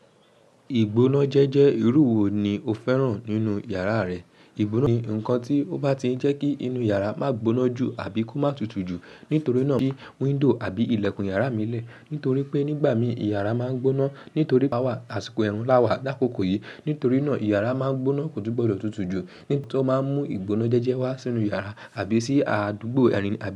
Ìgbónájẹ́jẹ́ irú wo ni o fẹ́ràn nínú yàrá rẹ? Ìgbónájẹ́jẹ́ ni nkan tí ó bá ti jẹ́ kí inú yàrá má gboná jù àbí kó má tutù jù. Nítorí náà bí window àbí ilẹ̀kùn yàrá mí lè, nítorí pé nígbà mí yàrá má ń gboná, nítorí power, àsìkò ẹrun láwà lakokò yìí. Nítorí náà yàrá má ń gboná kò tun gbọ́dọ̀ tutù jù. Nítorí tó má ń mú ìgbónájẹ́jẹ́ wá sínú yàrá àbí sí àdúgbò ìrìn àbí.